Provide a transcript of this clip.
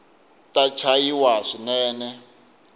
ta chavisa swinene